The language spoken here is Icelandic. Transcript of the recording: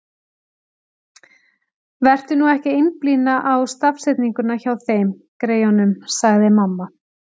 Vertu nú ekki að einblína á stafsetninguna hjá þeim, greyjunum, sagði mamma.